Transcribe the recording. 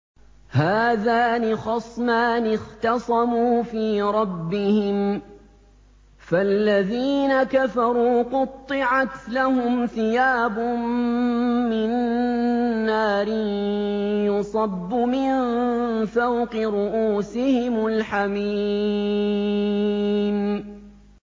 ۞ هَٰذَانِ خَصْمَانِ اخْتَصَمُوا فِي رَبِّهِمْ ۖ فَالَّذِينَ كَفَرُوا قُطِّعَتْ لَهُمْ ثِيَابٌ مِّن نَّارٍ يُصَبُّ مِن فَوْقِ رُءُوسِهِمُ الْحَمِيمُ